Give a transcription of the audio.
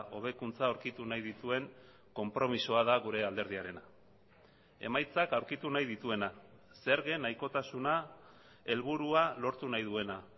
hobekuntza aurkitu nahi dituen konpromisoa da gure alderdiarena emaitzak aurkitu nahi dituena zergen nahikotasuna helburua lortu nahi duena